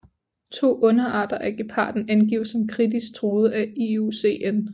To underarter af geparden angives som kritisk truet af IUCN